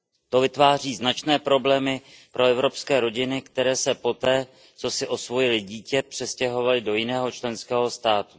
To vytváří značné problémy pro evropské rodiny, které se poté, co si osvojily dítě, přestěhovaly do jiného členského státu.